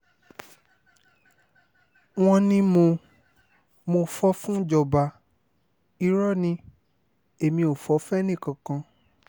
wọ́n ní mo mo fọ́ fúnjọba irọ́ ni èmi ò fọ́ fẹ́nìkankan